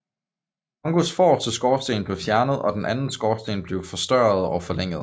Kongōs forreste skorsten blev fjernet og den anden skorsten blev forstørret og forlænget